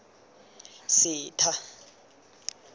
setha